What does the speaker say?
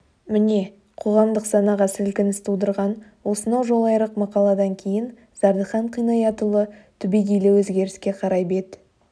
міне қоғамдық санаға сілкініс тудырған осынау жолайрық мақаладан кейін зардыхан қинаятұлы түбегейлі өзгеріске қарай бет